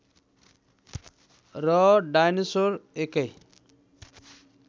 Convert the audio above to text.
र डायनोसर एकै